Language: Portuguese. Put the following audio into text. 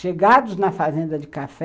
Chegados na fazenda de café,